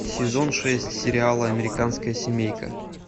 сезон шесть сериала американская семейка